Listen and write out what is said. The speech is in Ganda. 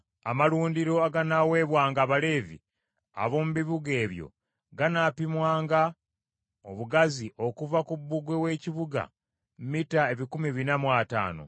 “Amalundiro aganaaweebwanga Abaleevi ab’omu bibuga ebyo ganaapimwanga obugazi okuva ku bbugwe w’ekibuga mita ebikumi bina mu ataano.